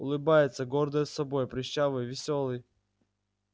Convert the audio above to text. улыбается гордая собой прыщавый весёлый